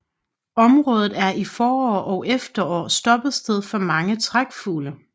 Området er i forår og efterår stoppested for mange trækfugle